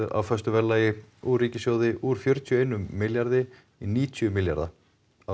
á föstu verðlagi úr ríkissjóði úr fjörutíu og einum milljarði í níutíu milljarða árið